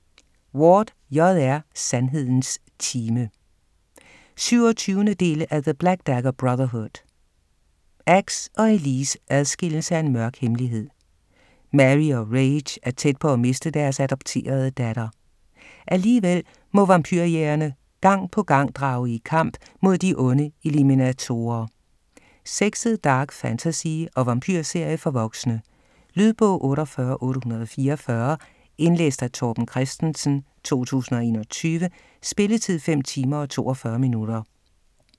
Ward, J. R.: Sandhedens time 27. del af The black dagger brotherhood. Axe og Elise adskilles af en mørk hemmelighed. Mary og Rhage er tæt på at miste deres adopterede datter. Alligevel må vampyrjægerne gang på gang drage i kamp mod de onde eliminatorer. Sexet dark fantasy og vampyrserie for voksne. Lydbog 48844 Indlæst af Torben Christensen, 2021. Spilletid: 5 timer, 42 minutter.